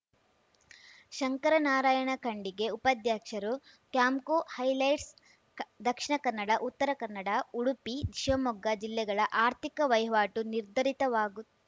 ಶಂಕರನಾರಾಯಣ ಖಂಡಿಗೆ ಉಪಾಧ್ಯಕ್ಷರು ಕ್ಯಾಂಪ್ಕೋ ಹೈಲೈಟ್ಸ್‌ ದಕ್ಷಿಣ ಕನ್ನಡ ಉತ್ತರ ಕನ್ನಡ ಉಡುಪಿ ಶಿವಮೊಗ್ಗ ಜಿಲ್ಲೆಗಳ ಆರ್ಥಿಕ ವಹಿವಾಟು ನಿರ್ಧರಿತವಾಗು